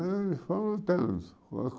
E fomos lutando.